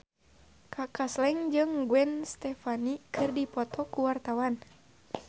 Kaka Slank jeung Gwen Stefani keur dipoto ku wartawan